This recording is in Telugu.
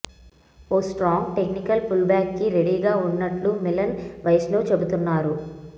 ఓ స్ట్రాంగ్ టెక్నికల్ పుల్బ్యాక్ కి రెడీగా ఉన్నట్లు మిలన్ వైష్ణవ్ చెప్తున్నారు